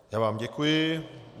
Já vám děkuji.